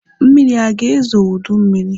Mmiri aga ezo oge ụdị mmiri?